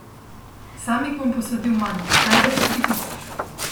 Sam jih bom posadil manj, največ tri tisoč.